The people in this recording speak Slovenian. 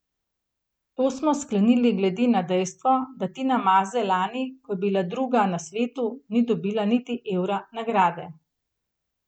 To smo sklenili glede na dejstvo, da Tina Maze lani, ko je bila druga na svetu, ni dobila niti evra nagrade.